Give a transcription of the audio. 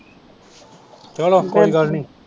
ਚਲੋ ਕੋਈ ਗੱਲ ਨੀ